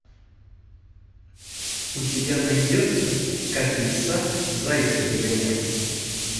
у тебя найдется как лиса зайца догоняла